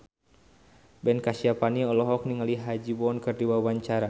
Ben Kasyafani olohok ningali Ha Ji Won keur diwawancara